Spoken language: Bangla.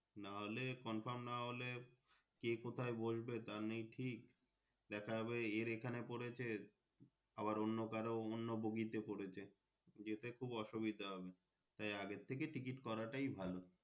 না হলে Confirm না হলে কে কোথায় বসবে তা নেই ঠিক দেখা যাবে এর এখানে পরেছে আবার অন্য কারোর অন্য boggy তে পড়েছে যেতে খুব অসুবিধা হবে তাই আগে থেকে Ticket করা টাই ভালো।